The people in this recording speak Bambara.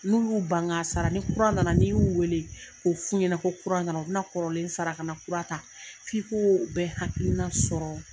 N'u y'u ban k'a sara ni kura nana n'i y'u wele k'o f'u ɲɛnɛ nana u bina kɔrɔlen sara ka na kura ta' f'i koo bɛ hakiina sɔrɔ